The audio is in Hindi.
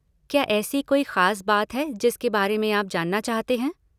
क्या ऐसी कोई खास बात है जिसके बारे में आप जानना चाहते हैं?